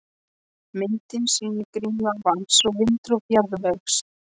Myndin sýnir greinilega vatns- og vindrof jarðvegs.